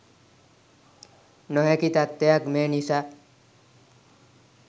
නොහැකි තත්ත්වයක් මේ නිසා